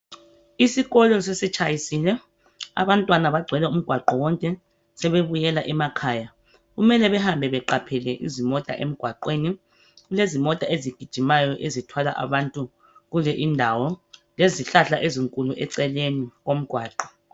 Isikolo sesitshayisile, abantwana bagcwele umgwaqo wonke, sebebuyela emakhaya. Kumule behambe beqaphele izimota emgwaqweni. Kulezimota ezigijimayo ezithwala abantu kule indawo, lezihlahla ezinkulu eceleni komgwaqo.